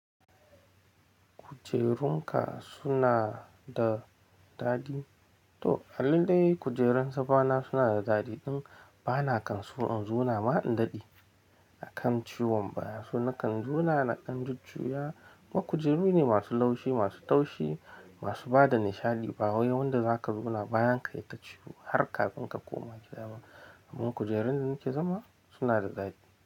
Kujerun ka suna da daɗi? Toh a lallai kujerun zamana suna da daɗi ɗin bana kan so in zauna ma in daɗe a kan ciwon baya. So na kan zauna na dan jujuya. Kuma kujeru ne masu laushi, masu taushi, masu bada nishaɗi ba wai wanda za ka zauna bayan ka ya ita ciwo har kafin ka koma gida ba. Kujerun da nake zama suna da daɗi.